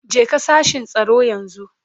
Jeka sashin tsaro yanzu.